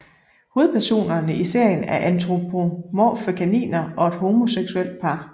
Hovedpersonerne i serien er antropomorfe kaniner og et homoseksuelt par